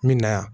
Min na yan